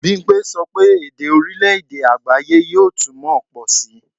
Bimpe sọ pé èdè orílè-èdè àgbááyé yóò túmọ̀ pọ̀ síi